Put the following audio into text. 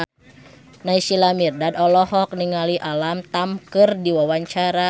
Naysila Mirdad olohok ningali Alam Tam keur diwawancara